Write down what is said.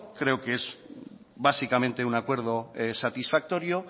creo que es básicamente un acuerdo satisfactorio